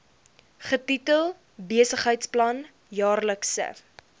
getitel besigheidsplan jaarlikse